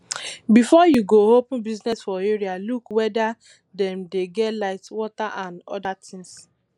before you go open business for area look weda dem dey get light water and oda things